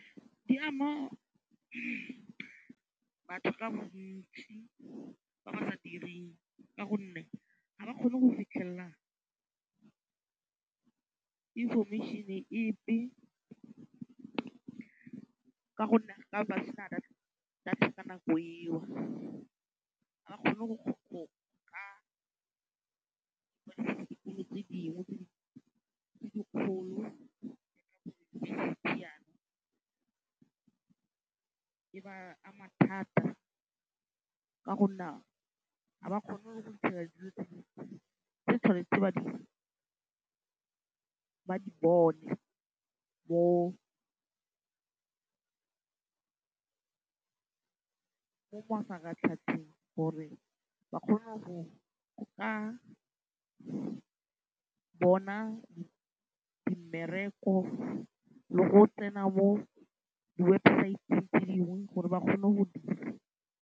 Di ama batho ka bontsi ba ba sa direng ka gonne ga ba kgone go fitlhelela information-e epe ka gonne ba tla be ba sena data ka nako eo. Ga ba kgone go ka tse dingwe tse dikgolo e ba ama thata ka gonne ga ba kgone go fitlhelela dilo tse dingwe tse ba tshwanetseng gore ba di bone mo mafaratlhatlheng gore ba kgone go ka bona mmereko le go tsena mo diwebsaeteng tse dingwe gore ba kgone go .